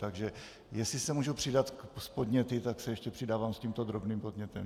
Takže jestli se můžu přidat s podněty, tak se ještě přidávám s tímto drobným podnětem.